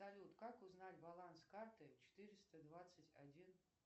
салют как узнать баланс карты четыреста двадцать один